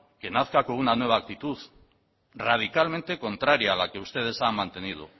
que nazca con una nueva actitud radicalmente contraria a la que ustedes han mantenido